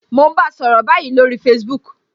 Mo n bá ọ sọ̀rọ̀ báyìí lórí Facebook